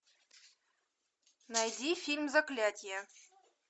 найди фильм заклятие